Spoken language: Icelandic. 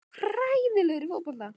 Þú ætlar líka að verða pottþéttur gaur.